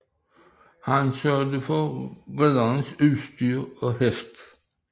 Han sørgede for ridderens udstyr og hest